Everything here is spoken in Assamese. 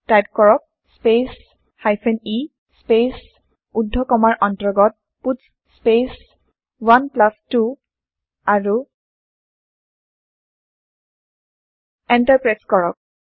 টাইপ কৰক স্পেচ e স্পেচ ঊৰ্ধ কমাৰ অন্তৰ্গত পাটছ স্পেচ 12 আৰু এন্টাৰ প্ৰেছ কৰক